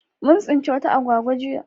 Mun tsinci wata agwagwa jiya